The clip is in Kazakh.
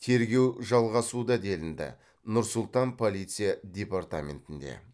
тергеу жалғасуда делінді нұр сұлтан полиция департаментінде